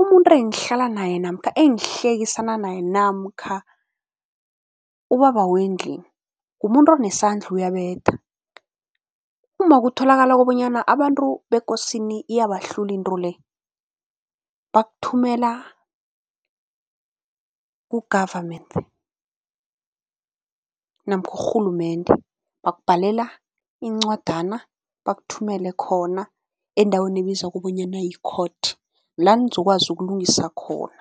umuntu engihlala naye namkha engihlekisana naye namkha ubaba wendlini, ngumuntu onesandla uyabetha. Uma kutholakala kobanyana abantu bekosini iyabahlula into le, bakuthumela ku-government namkha urhulumende. Bakubhalela incwadana, bakuthumele khona endaweni ebizwa kobonyana yi-court, la nizokwazi ukulungisa khona.